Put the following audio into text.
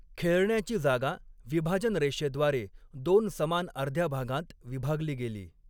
खेळण्याची जागा 'विभाजन रेषे' द्वारे दोन समान अर्ध्या भागांत विभागली गेली.